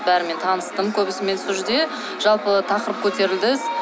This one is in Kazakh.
бәрімен таныстым көбісімен сол жерде жалпы тақырып көтерілді